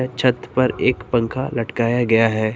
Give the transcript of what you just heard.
छत पर एक पंखा लटकाया गया है।